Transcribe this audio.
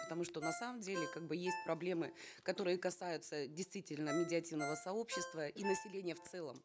потому что на самом деле как бы есть проблемы которые касаются действительно медиативного сообщества и населения в целом